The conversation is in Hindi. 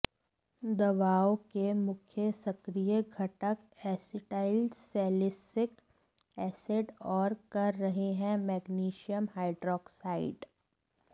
दवाओं के मुख्य सक्रिय घटक एसिटाइलसैलिसिलिक एसिड और कर रहे हैं मैग्नीशियम हाइड्रॉक्साइड